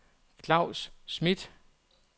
Claus Schmidt